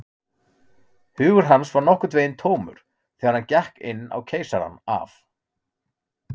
Hugur hans var nokkurn veginn tómur, þegar hann gekk inn á Keisarann af